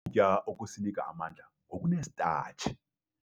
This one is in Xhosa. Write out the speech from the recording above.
Ukutya okusinika amandla kokunesitatshi.